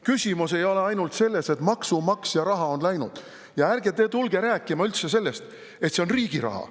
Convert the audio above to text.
Küsimus ei ole ainult selles, et maksumaksja raha on läinud, ja ärge te tulge rääkima üldse sellest, et see on riigi raha.